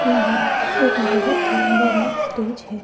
यहां एक बहुत ही बड़ा स्टेज है।